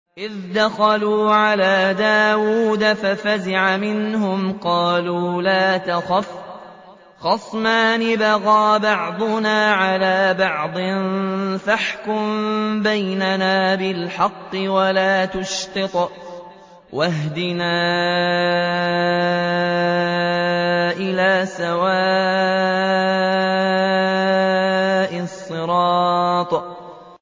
إِذْ دَخَلُوا عَلَىٰ دَاوُودَ فَفَزِعَ مِنْهُمْ ۖ قَالُوا لَا تَخَفْ ۖ خَصْمَانِ بَغَىٰ بَعْضُنَا عَلَىٰ بَعْضٍ فَاحْكُم بَيْنَنَا بِالْحَقِّ وَلَا تُشْطِطْ وَاهْدِنَا إِلَىٰ سَوَاءِ الصِّرَاطِ